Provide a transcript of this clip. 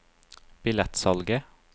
billettsalget